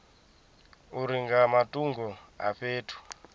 uri nga matungo a fhethu